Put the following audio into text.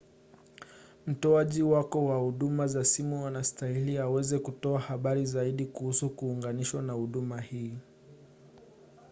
mtoaji wako wa huduma za simu anastahili aweze kutoa habari zaidi kuhusu kuunganishwa na huduma hii